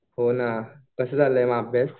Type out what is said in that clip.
हो ना. कसा चालू आहे मग अभ्यास?